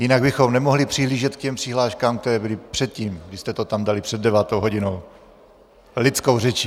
Jinak bychom nemohli přihlížet k těm přihláškám, které byly předtím, když jste to tam dali před devátou hodinou - lidskou řečí.